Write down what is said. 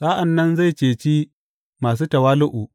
Sa’an nan zai ceci masu tawali’u.